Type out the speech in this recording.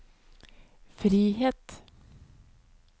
frihet